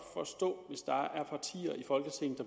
forstå